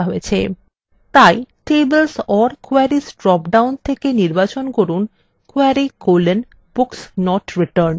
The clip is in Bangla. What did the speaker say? তাই tables or queries ড্রপডাউন থেকে নির্বাচন করুন query: books not returned